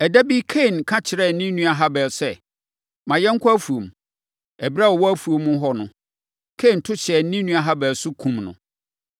Ɛda bi Kain ka kyerɛɛ ne nua Habel sɛ, “Ma yɛnkɔ afuom.” Ɛberɛ a wɔwɔ afuom hɔ no, Kain to hyɛɛ ne nua Habel so, kumm no.